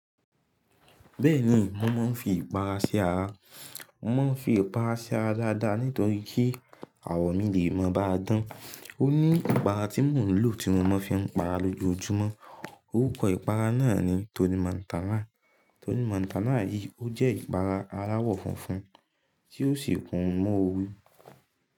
Bẹ́ẹ̀ni, mò maa ń fi ìpara ṣi ara. Mò máa ń fi ìpara ṣi ara dáadáa nítorí kí àwọ̀ mí lè mọ́ bá a dán. Ó ní ìpara tí mò ń lò tí mo máa fi n para lójoójúmọ́. Orúkọ ìpara náà ni Tony Mantala. Tony Mantala yìí ó jẹ́ ìpara aláwọ̀ funfun tí ó sì kún mu oru.